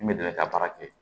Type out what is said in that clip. I bɛ dɛmɛ ka baara kɛ